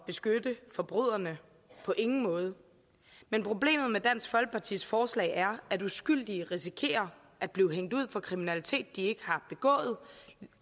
beskytte forbryderne på ingen måde men problemet med dansk folkepartis forslag er at uskyldige risikerer at blive hængt ud for kriminalitet de ikke har begået